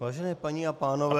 Vážené paní a pánové -